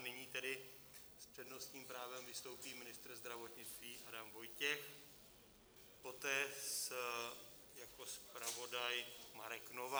A nyní tedy s přednostním právem vystoupí ministr zdravotnictví Adam Vojtěch, poté jako zpravodaj Marek Novák.